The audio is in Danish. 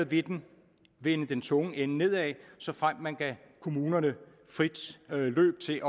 ville den vende den tunge ende nedad såfremt man gav kommunerne frit løb til